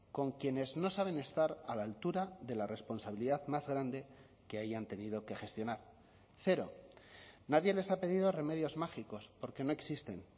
con quienes no saben estar a la altura de la responsabilidad más grande que hayan tenido que gestionar cero nadie les ha pedido remedios mágicos porque no existen